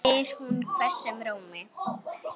spyr hún hvössum rómi.